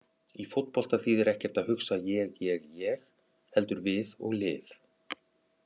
Í fótbolta þýðir ekkert að hugsa ég- ég- ég heldur við og lið.